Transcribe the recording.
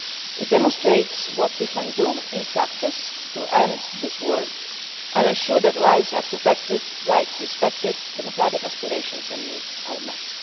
it. It demonstrates what we can do in practice to end this war and ensure that lives are protected, rights respected, democratic aspirations and needs are met.